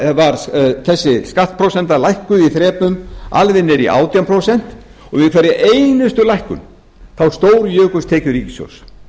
síðan var þessi skattprósenta lækkuð í þrepum alveg niður í átján prósent og við hverja einustu lækkun stórjukust tekjur ríkissjóðs